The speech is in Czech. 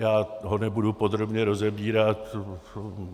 Já ho nebudu podrobně rozebírat.